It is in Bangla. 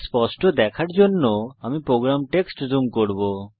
স্পষ্ট দেখার জন্য আমি প্রোগ্রাম টেক্সট জুম করব